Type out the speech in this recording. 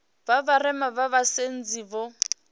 vha vharema vha vhasadzi vho